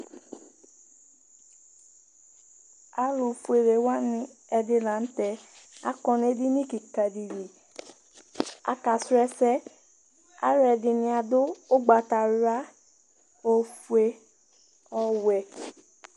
Alʋfuele wanɩ ɛdɩ la nʋ tɛ akɔ nʋ edini kɩka dɩ li Akasrɔ ɛsɛ Alʋɛdɩnɩ adʋ ʋgbatawla, ofue, ɔwɛ